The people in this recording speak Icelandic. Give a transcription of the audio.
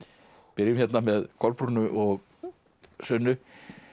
byrjum hérna með og Sunnu